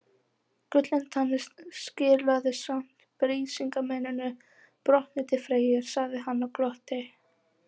Gullintanni skilaði samt Brísingameninu brotnu til Freyju, sagði hann og glotti.